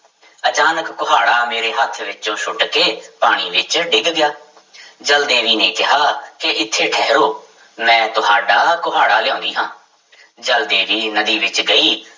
ਅਚਾਨਕ ਕੁਹਾੜਾ ਮੇਰੇ ਹੱਥ ਵਿੱਚੋਂ ਸੁੱਟ ਕੇ ਪਾਣੀ ਵਿੱਚ ਡਿੱਗ ਗਿਆ ਜਲ ਦੇਵੀ ਨੇ ਕਿਹਾ ਕਿ ਇੱਥੇ ਠਹਿਰੋ ਮੈਂ ਤੁਹਾਡਾ ਕੁਹਾੜਾ ਲਿਆਉਂਦੀ ਹਾਂ ਜਲ ਦੇਵੀ ਨਦੀ ਵਿੱਚ ਗਈ